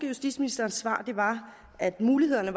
justitsministerens svar var at mulighederne